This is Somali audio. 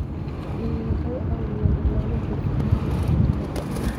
Xooluhu waxay caawiyaan ilaalinta sugnaanta cuntada.